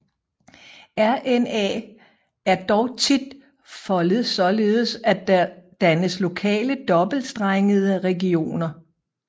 RNA er dog tit foldet således at der dannes lokale dobbeltstrengede regioner